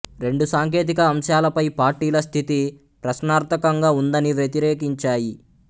రెండూ సాంకేతిక అంశాలపై పార్టీల స్థితి ప్రశ్నార్థకంగా ఉందని వ్యతిరేకించాయి